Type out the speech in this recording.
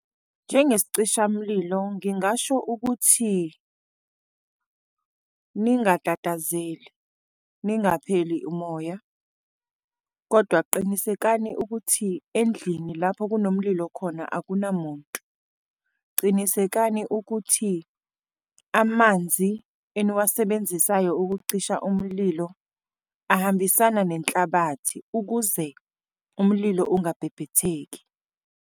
Njengesicishamlilo, ngingasho ukuthi ningatatazeli, ningapheli umoya. Kodwa qinisekani ukuthi endlini lapho kunomlilo khona akunamuntu. Cinisekani ukuthi amanzi eniwasebenzisayo ukucisha umlilo ahambisana nenhlabathi ukuze umlilo ungabhebhetheki.